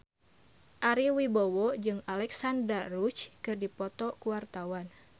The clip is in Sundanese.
Ari Wibowo jeung Alexandra Roach keur dipoto ku wartawan